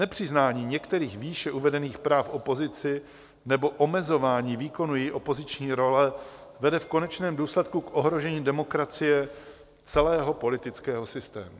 Nepřiznání některých výše uvedených práv opozici nebo omezování výkonu její opoziční role vede v konečném důsledku k ohrožení demokracie celého politického systému.